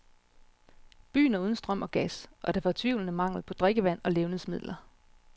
Byen er uden strøm og gas, og der er fortvivlende mangel på drikkevand og levnedsmidler.